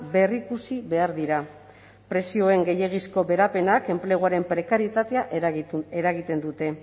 berrikusi behar dira prezioen gehiegizko beherapenak enpleguaren prekarietatea eragiten dute